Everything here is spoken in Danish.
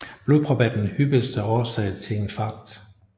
Blodprop er den hyppigste årsag til infarkt